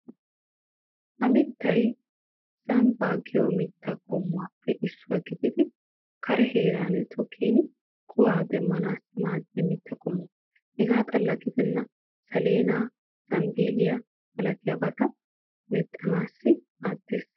Ha mittay zambbaa giyo mittaa qommuwaappe issuwa gididi kare heeran tokkin kuwaa demmanaassi maaddiya mitta qommo. Hegaa xalla gidennan saleenaa, zambbeeliya malatiyaabata mexxanaassi maaddeees.